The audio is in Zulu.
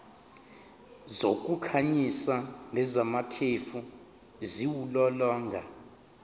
zokukhanyisa nezamakhefu ziwulolonga